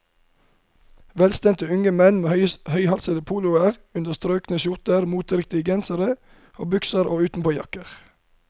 Velstelte unge menn med høyhalsede poloer under strøkne skjorter, moteriktige gensere og bukser og utenpåjakker.